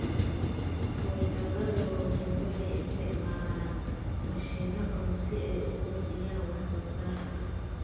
Hawlgallada waaweyn waxay isticmaalaan mashiinno culus si ay u kordhiyaan wax soo saarka.